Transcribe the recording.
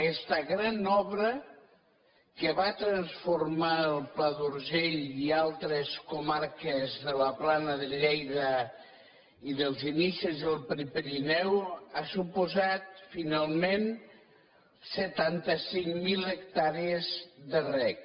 aquesta gran obra que va transformar el pla d’urgell i altres comarques de la plana de lleida i dels inicis del prepirineu ha suposat finalment setanta cinc mil hectàrees de reg